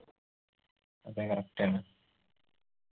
അതെ correct ആണ്